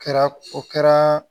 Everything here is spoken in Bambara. Kɛra o kɛra